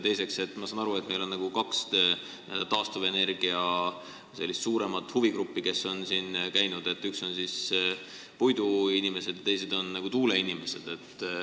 Teiseks, ma saan aru, et meil on kaks suuremat taastuvenergia huvigruppi, kelle esindajad on ka siin käinud: üks on puiduinimesed ja teine on tuuleinimesed.